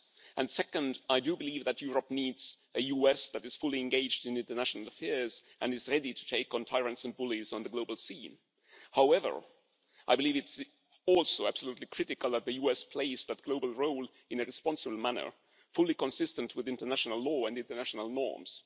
And second, I do believe that Europe needs a US that is fully engaged in international affairs and is ready to take on tyrants and bullies on the global scene. However, I believe it is also absolutely critical that the US play that global role in a responsible manner fully consistent with international law and international norms.